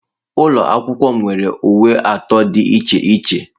Ụlọ akwụkwọ m nwere uwe atọ dị iche iche.